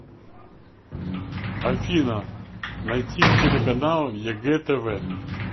афина найти телеканал егэ тв